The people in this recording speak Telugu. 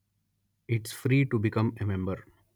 it's free to become a member